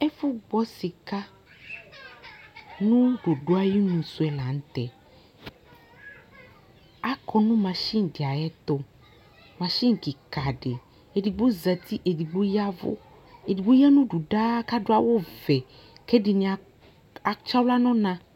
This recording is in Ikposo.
Ɛfʋgbɔ sɩka nʋ dodo ayinu sʋ yɛ la nʋ tɛ Akɔ nʋ masin dɩ ayɛtʋ Masin kɩka dɩ, edigbo zati, edigbo ya ɛvʋ Edigbo ya nʋ udu daa kʋ adʋ awʋvɛ kʋ ɛdɩnɩ atsɩ aɣla nʋ ɔna